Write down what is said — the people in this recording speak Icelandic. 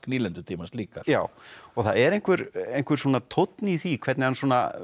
nýlendutímans líka já og það er einhver einhver svona tónn í því hvernig hann